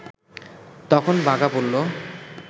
তখন বাঘা বলল